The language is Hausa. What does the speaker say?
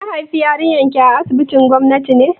Kin haifi yarinyar ki a asibitin gwamnati ne?